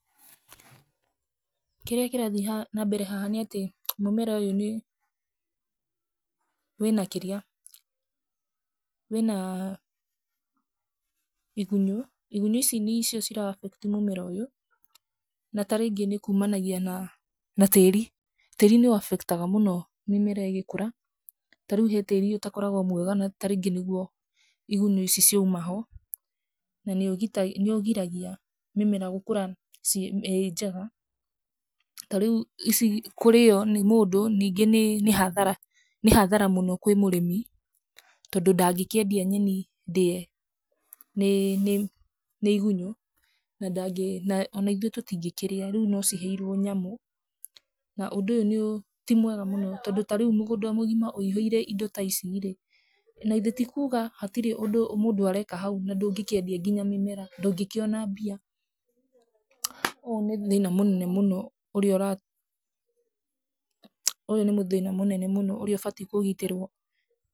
Kĩrĩa kĩrathiĩ na mbere haha nĩ atĩ mũmera ũyũ nĩ, wĩna kĩrĩa, wĩna igunyũ, igunyũ ici nĩcio cira affect mũmera ũyũ na tarĩngĩ nĩ kumanagia na tĩri, tĩri nĩ ũ affect aga mũno mĩmera ĩgĩkũra, ta rĩu he tĩri ũtakoragwo mwega tarĩngĩ nĩguo igunyũ ici cirauma ho, na nĩ ũgiragia mĩmera gũkũra ĩnjega, ta rĩu ici kũrĩo nĩ mũndũ nĩ hathara, nĩ hathara mũno kwĩ mũrĩmi tondũ ndangĩkĩendia nyeni ndĩe nĩ, nĩ igunyũ, ona ithuĩ tũtingĩkĩrĩa, rĩu no ciheirwo nyamũ, na ũndũ ũyũ ti mwega mũno tondũ ta rĩu mũgũnda mũgima wũihũire indo ta ici rĩ, na ithe tikuga hatirĩ ũndũ mũndũ areka hau na ndũngĩkĩendia nginya mĩmera, ndũngĩkĩona mbia, ũyũ nĩ thĩna mũnene mũno ũrĩa ũratũma, ũyũ nĩ thĩna mũnene mũno ũrĩa ũbatie kũgitĩrwo.